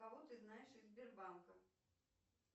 кого ты знаешь из сбербанка